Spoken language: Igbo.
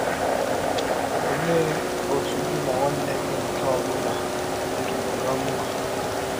Ọlee ọtụ gị na nwanne gị nke ọ bụla dịrụrụ ná mma?